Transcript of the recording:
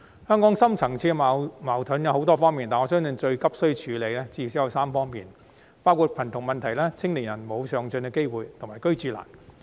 香港的深層次矛盾有很多方面，但我相信最急需處理的至少有3方面，包括貧窮問題、青年人沒有上進機會及"居住難"。